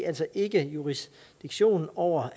altså ikke jurisdiktion over